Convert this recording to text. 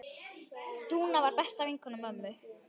Dúna var besta vinkona mömmu.